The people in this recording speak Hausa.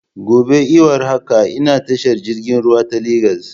Gobe iwar haka ina tashar jirgin ruwa ta Legas